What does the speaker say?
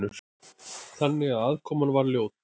Þannig að aðkoman var ljót.